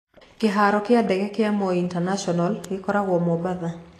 Kĩharo kĩa ndege kĩa Moi International gĩkoragwo Mombatha.